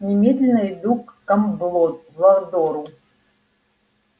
немедленно иду к дамблдору